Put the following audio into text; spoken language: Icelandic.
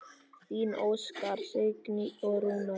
Þín Óskar, Signý og Rúnar.